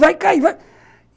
Vai cair!